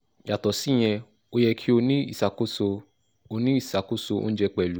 yàtọ̀ síyẹn ó yẹ kí o ní ìṣàkóso o ní ìṣàkóso oúnjẹ pẹ̀lú